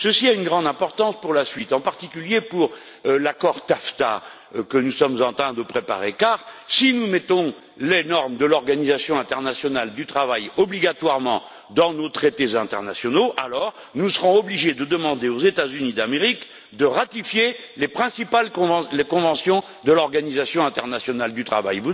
Cela a une grande importance pour la suite, en particulier pour l'accord TAFTA que nous sommes en train de préparer, car si nous mettons les normes de l'Organisation internationale du travail obligatoirement dans nos traités internationaux, alors nous serons obligés de demander aux États Unis d'Amérique de ratifier les principales conventions de l'Organisation internationale du travail.